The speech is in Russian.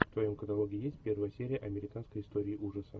в твоем каталоге есть первая серия американской истории ужасов